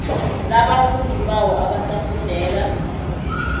labafundi bawo abasafundela